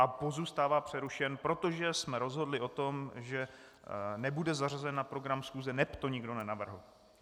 A pozůstává přerušen, protože jsme rozhodli o tom, že nebude zařazen na program schůze, neb to nikdo nenavrhl.